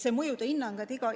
Mõjude hinnang on oluline.